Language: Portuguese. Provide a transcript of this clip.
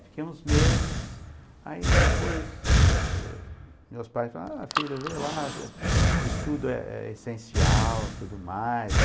Fiquei uns meses, aí depois meus pais falaram, a filha vê lá, o estudo é é essencial, tudo mais.